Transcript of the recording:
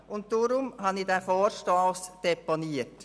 Deshalb habe ich diesen Vorstoss deponiert.